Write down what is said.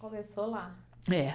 Começou lá? É